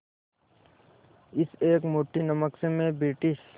इस एक मुट्ठी नमक से मैं ब्रिटिश